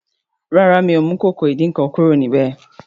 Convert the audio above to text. ràrá mio mú Ìkòkò ìdín-nǹkan kúrò níbẹ.